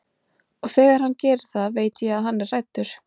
Og þegar hann gerir það veit ég að hann er hræddur.